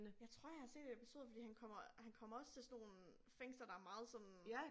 Jeg tror jeg har set episoder fordi han kommer han kommer også til sådan nogle fænglser der meget sådan